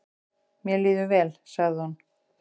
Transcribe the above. """Mér líður vel, sagði hún."""